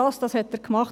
Das hat er gemacht.